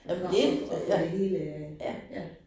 Og og og få det hele ja